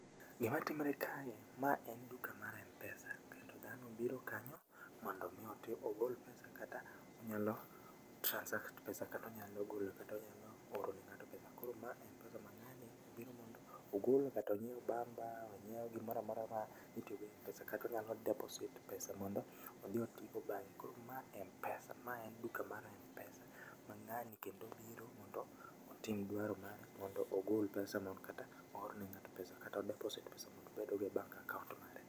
Gima timre kae, ma en duka mar mpesa, to dhano obiro kanyo mondo mi oti ogol pesa kata onyalo transact pesa kata onyalo golo kata onyalo oro ne ng'ato pesa. Koro ma en pesa ma ng'ani obiro ogolo kata onyieo bamba ma onyieo gimora mora ma itiogo e mpesa kata onyalo deposit pesa mondo odhi otii go bang'e. Koro maen mpesa maen duka mar mpesa, ma ng'ani kendo biro mondo otim dwaro mare mondo ogol pesa no kata oor ne ng'ato pesa kata odeposit pesa mondo obedgo e bank account mare.